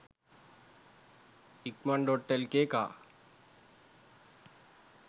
ikman.lk car